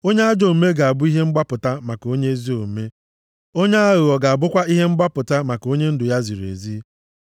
Onye ajọ omume ga-abụ ihe mgbapụta maka onye ezi omume, onye aghụghọ ga-abụkwa ihe mgbapụta maka onye ndụ ya ziri ezi.